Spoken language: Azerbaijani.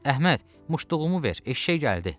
Əhməd, muştuluğumu ver, eşşək gəldi!